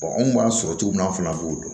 anw b'a sɔrɔ cogo min na anw fɛnɛ b'o dɔn